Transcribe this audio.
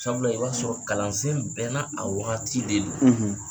Sabula i b'a sɔrɔ kalansen bɛɛ n'a wagati de don